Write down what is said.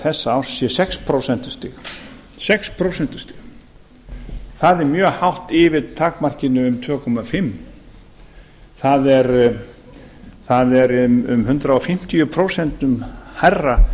þessa árs sé sex prósent það er mjög hátt yfir takmarkinu um tvö og hálft prósent það er um hundrað fimmtíu prósent hærra